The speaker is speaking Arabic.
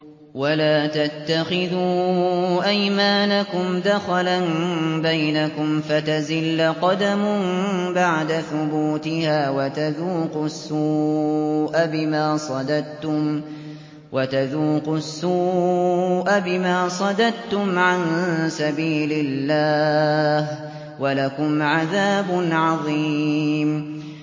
وَلَا تَتَّخِذُوا أَيْمَانَكُمْ دَخَلًا بَيْنَكُمْ فَتَزِلَّ قَدَمٌ بَعْدَ ثُبُوتِهَا وَتَذُوقُوا السُّوءَ بِمَا صَدَدتُّمْ عَن سَبِيلِ اللَّهِ ۖ وَلَكُمْ عَذَابٌ عَظِيمٌ